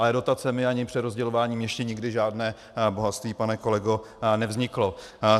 Ale dotacemi ani přerozdělováním ještě nikdy žádné bohatství, pane kolego, nevzniklo.